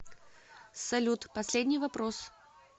салют последний вопрос